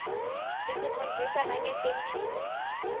isifundzisa nangetemphilo